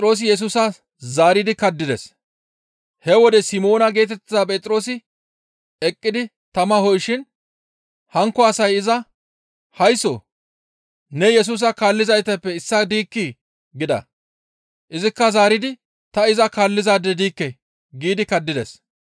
He wode Simoona geetettiza Phexroosi eqqidi tama ho7ishin hankko asay iza, «Haysso! Ne Yesusa kaallizaytappe issaa diikkii?» gida. Izikka zaaridi, «Ta iza kaallizaade diikke» giidi kaddides.